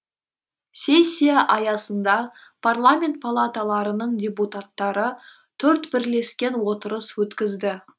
сессия аясында парламент палаталарының депутаттары төрт бірлескен отырыс өткізді